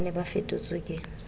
ba ne ba fetotswe ke